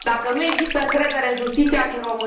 Dacă nu există încredere în justiția din România